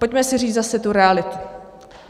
Pojďme si říct zase tu realitu.